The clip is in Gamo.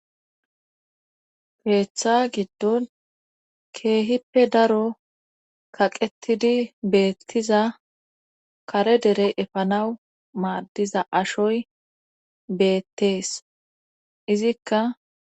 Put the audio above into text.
keetha giddon keehippe daro kaqettidi beettiza kare dere efanawu maaddiza ashoy beettes; izikka.